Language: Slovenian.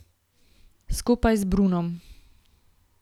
Skupaj z Brunom.